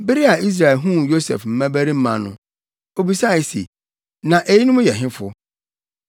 Bere a Israel huu Yosef mmabarima no, obisae se, “Na eyinom yɛ hefo?”